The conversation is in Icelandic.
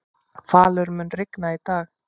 Falur, mun rigna í dag?